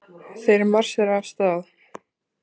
Þeir marsera af stað.